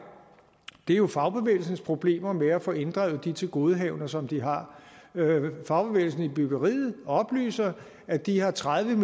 jo fagbevægelsens problemer med at få inddrevet de tilgodehavender som de har fagbevægelsen i byggeriet oplyser at de har tredive